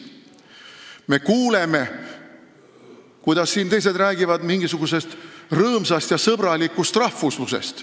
Me kuuleme, kuidas siin teised räägivad mingisugusest rõõmsast ja sõbralikust rahvuslusest.